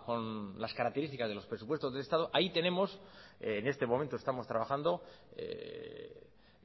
con las características de los presupuestos del estado ahí tenemos en este momento estamos trabajando